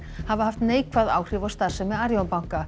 hafa haft neikvæð áhrif á starfsemi Arion banka